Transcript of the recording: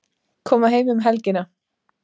Koma heim um helgina